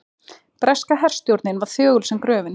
Breska herstjórnin var þögul sem gröfin.